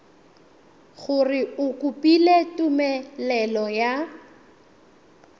gore o kopile tumelelo ya